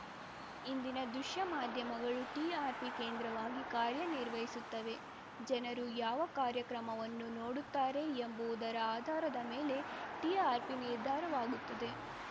ಇಂದಿನ ದೃಶ್ಯ ಮಾಧ್ಯಮಗಳು ಟಿಆರ್‌ಪಿ ಕೇಂದ್ರಿತವಾಗಿ ಕಾರ್ಯ ನಿರ್ವಹಿಸುತ್ತವೆ ಜನರು ಯಾವ ಕಾರ್ಯಕ್ರಮವನ್ನು ನೋಡುತ್ತಾರೆ ಎಂಬುವುದರ ಆಧಾರದ ಮೇಲೆ ಟಿಆರ್‌ಪಿ ನಿರ್ಧಾರವಾಗುತ್ತದೆ